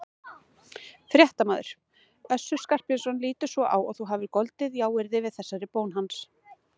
Fréttamaður: Össur Skarphéðinsson lítur svo á að þú hafir goldið jáyrði við þessari bón hans?